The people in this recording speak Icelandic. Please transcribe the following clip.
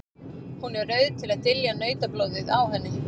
Hún er rauð til að dylja nautablóðið á henni.